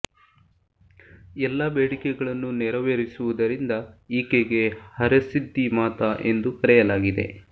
ಎಲ್ಲ ಬೇಡಿಕೆಗಳನ್ನು ನೆರೆವೆರಿಸುವುದರಿಂದ ಈಕೆಗೆ ಹರಸಿದ್ಧಿ ಮಾತಾ ಎಂದು ಕರೆಯಲಾಗಿದೆ